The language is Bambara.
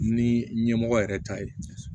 Ni ɲɛmɔgɔ yɛrɛ ta ye